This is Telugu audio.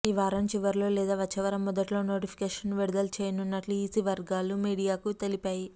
ఈ వారం చివర్లో లేదా వచ్చేవారం మొదట్లో నోటిఫికేషన్ను విడుదల చేయనున్నట్లు ఈసీ వర్గాలు మీడియాకు తెలిపాయి